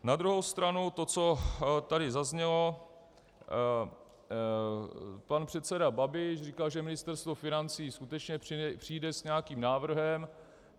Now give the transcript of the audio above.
Na druhou stranu to, co tady zaznělo, pan předseda Babiš říkal, že Ministerstvo financí skutečně přijde s nějakým návrhem.